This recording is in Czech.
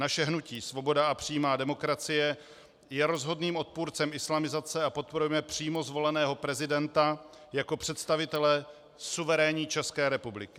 Naše hnutí Svoboda a přímá demokracie je rozhodným odpůrcem islamizace a podporujeme přímo zvoleného prezidenta jako představitele suverénní České republiky.